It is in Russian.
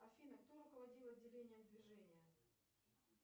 афина кто руководил отделением движения